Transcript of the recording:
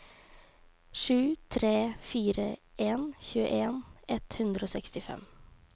sju tre fire en tjueen ett hundre og sekstifem